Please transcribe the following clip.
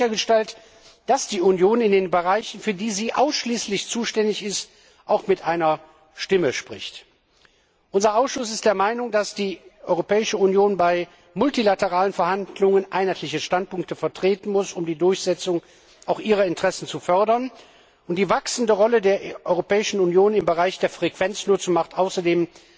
Und wie wird sichergestellt, dass die Union in den Bereichen, für die sie ausschließlich zuständig ist, auch mit einer Stimme spricht? Unser Ausschuss ist der Meinung, dass die Europäische Union bei multilateralen Verhandlungen einheitliche Standpunkte vertreten muss, um die Durchsetzung ihrer Interessen zu fördern, und die wachsende Rolle der Europäischen Union im Bereich der Frequenznutzung macht außerdem